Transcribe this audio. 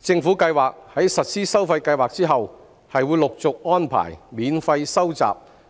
政府計劃在實施收費計劃後，陸續安排免費收集